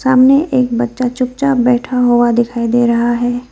सामने एक बच्चा चुपचाप बैठा हुआ दिखाई दे रहा है।